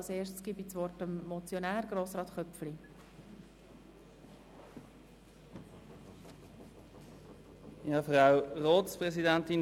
Als Erstes gebe ich dem Motionär, Grossrat Köpfli, das Wort.